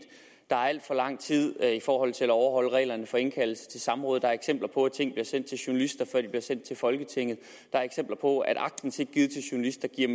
der går alt for lang tid i forhold til at overholde reglerne for indkaldelse til samråd der er eksempler på at ting bliver sendt til journalister før de bliver sendt til folketinget der er eksempler på at aktindsigt givet til journalister giver